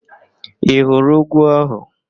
Ị hụrụ úgwú ahụ?